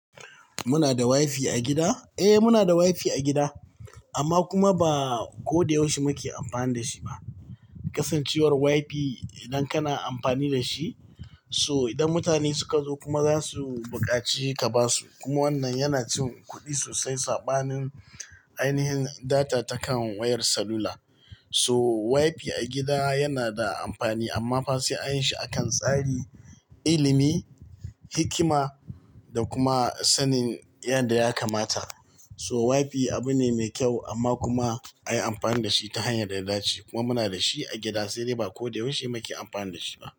Muna da wifi a gida? Eh, muna da wifi a gida, amma kuma ba ko da yaushe muke amfani da shi ba. Kasancewar wifi idan kana amfani da shi, so idan mutane suka zo kuma za su buƙaci ka basu. Kuma wannan yana cin kuɗi sosai saɓanin ainihin data ta kan wayar salula. So wifi a gida yana da amfani amma fa she an yi shi a kan tsari, ilimi, hikima da kuma sanin yadda ya kamata. So wifi abu ne mai kyau amma kuma a yi amfani da shi ta hanyar da dace. Kuma muna da shi a gida sai dai ba ko da yaushe muke amfani da shi ba.